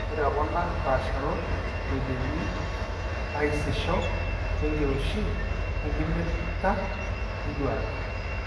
Pokira ekuna paasharot eidimi aisisho oenkiroshi enkimita enduata.